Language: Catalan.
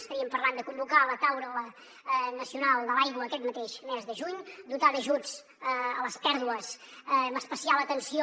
estaríem parlant de convocar la taula nacional de l’aigua aquest mateix mes de juny dotar d’ajuts les pèrdues amb especial atenció